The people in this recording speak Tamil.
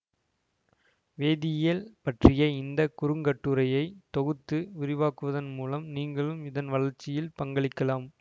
வேதியியல் பற்றிய இந்த குறுங்கட்டுரையை தொகுத்து விரிவாக்குவதன் மூலம் நீங்களும் இதன் வளர்ச்சியில் பங்களிக்கலாம்